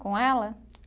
Com ela?